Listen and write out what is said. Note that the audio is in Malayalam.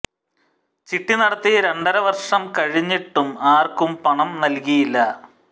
ചിട്ടി നടത്തി രണ്ടര വര്ഷം കഴിഞ്ഞിട്ടും ആര്ക്കും പണം നല്കിയില്ല